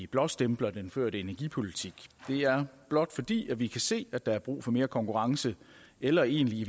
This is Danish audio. blåstempler den førte energipolitik det er blot fordi vi kan se at der er brug for mere konkurrence eller egentlig i